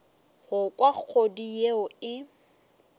go kwa kgodu yeo e